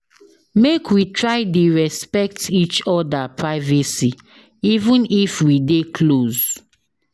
Make we try dey respect each oda privacy even if we dey close.